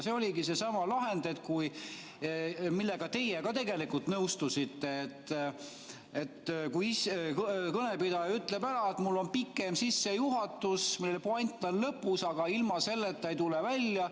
See oligi seesama lahend, millega teie ka nõustusite, et kõnepidaja ütleb ära, et tal on pikem sissejuhatus, mille puänt on lõpus, aga ilma selleta ei tule välja.